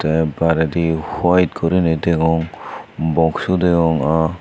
te baredi huwaet gurinei degong boxu degong a.